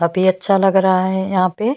काफी अच्छा लग रहा है यहाँ पे--